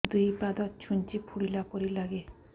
ଦୁଇ ପାଦ ଛୁଞ୍ଚି ଫୁଡିଲା ପରି ଲାଗେ